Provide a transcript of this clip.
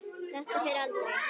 Þetta fer aldrei.